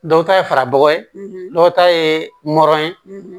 Dɔw ta ye farabɔ ye dɔw ta ye nɔrɔ ye